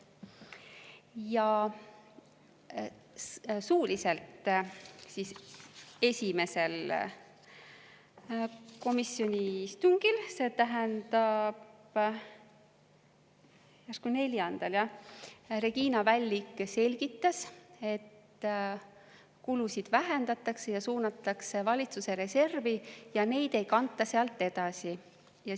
Ja esimesel komisjoni istungil, see tähendab 4. novembril, Regina Vällik selgitas, et kulusid vähendatakse ja suunatakse valitsuse reservi ja neid ei kanta sealt edasi.